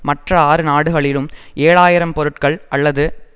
மற்ற ஆறு நாடுகளிலும் ஏழு ஆயிரம் பொருட்கள் அல்லது